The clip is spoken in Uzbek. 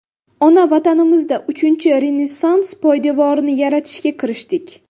Ona Vatanimizda Uchinchi Renessans poydevorini yaratishga kirishdik.